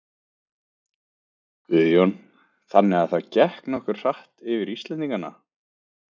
Guðjón: Þannig að það gekk nokkuð hratt fyrir Íslendingana?